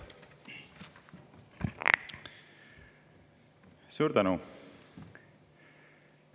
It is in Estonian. Suur tänu!